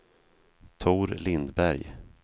Tor Lindberg